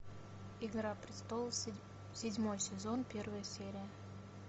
игра престолов седьмой сезон первая серия